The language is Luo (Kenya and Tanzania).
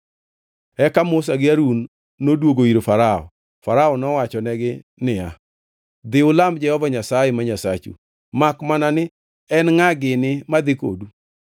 Eka Musa gi Harun noduogo ir Farao. Farao nowachonegi niya, “Dhi, ulam Jehova Nyasaye ma Nyasachu, makmana ni en ngʼa gini madhi kodu?”